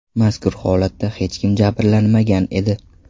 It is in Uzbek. Mazkur holatda hech kim jabrlanmagan edi.